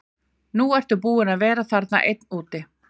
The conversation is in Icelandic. Nú ertu búinn að vera þarna einn úti.